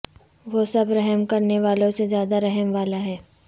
وہ سب رحم کرنے والوں سے زیادہ رحم والا ہے